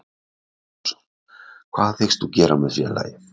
Sindri Sindrason: Hvað hyggst þú gera með félagið?